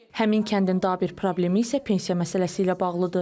Həmin kəndin daha bir problemi isə pensiya məsələsi ilə bağlıdır.